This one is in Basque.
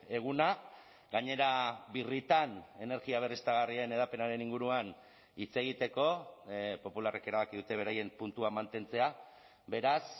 eguna gainera birritan energia berriztagarrien hedapenaren inguruan hitz egiteko popularrek erabaki dute beraien puntua mantentzea beraz